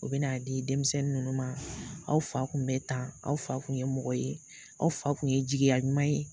U bɛ n'a di denmisɛnnin ninnu ma aw fa kun bɛ tan aw fa kun ye mɔgɔ ye aw fa kun ye jigiya ɲuman ye.